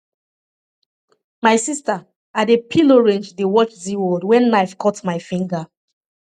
my sister i dey peel orange dey watch zeaworld wen knife cut my finger